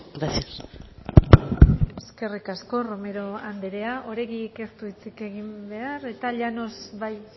gracias eskerrik asko romero andrea oregik ez du hitzik egin behar eta llanos bai